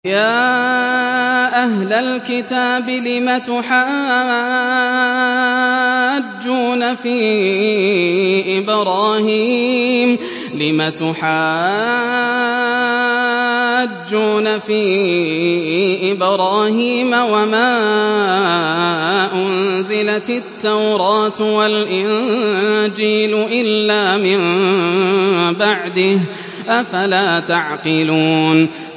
يَا أَهْلَ الْكِتَابِ لِمَ تُحَاجُّونَ فِي إِبْرَاهِيمَ وَمَا أُنزِلَتِ التَّوْرَاةُ وَالْإِنجِيلُ إِلَّا مِن بَعْدِهِ ۚ أَفَلَا تَعْقِلُونَ